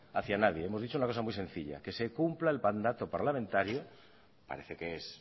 hacia nadie hemos dicho una cosa muy sencilla que se cumpla el mandato parlamentario parece que es